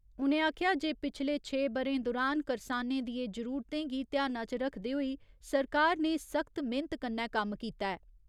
उ'नें आखेआ जे पिछले छे ब'रें दुरान करसानें दियें जरूरतें गी ध्याना च रक्खदे होई सरकार ने सख्त मेह्‌नत कन्नै कम्म कीता ऐ।